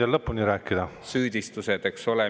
… vaid konkreetsed süüdistused, eks ole.